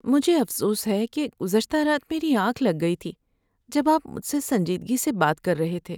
مجھے افسوس ہے کہ گزشتہ رات میری آنکھ لگ گئی تھی جب آپ مجھ سے سنجیدگی سے بات کر رہے تھے۔